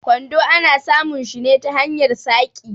Kwando ana samun shi ne ta hanyar saƙi.